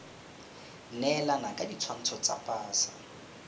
neelana ka ditshwantsho tsa pasa